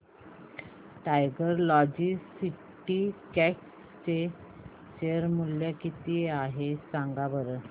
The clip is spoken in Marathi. टायगर लॉजिस्टिक्स चे शेअर मूल्य किती आहे सांगा बरं